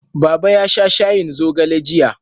Baba ya sha shayin zogale jiya.